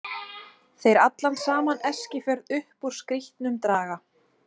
Þeir allan saman Eskifjörð upp úr skítnum draga.